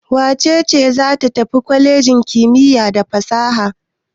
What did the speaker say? Wace ce za ta fita daga kwalejin kimiyya da fasaha?